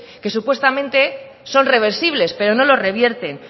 que supuestamente son reversibles pero no los revierten